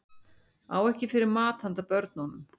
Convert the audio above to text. Á ekki fyrir mat handa börnunum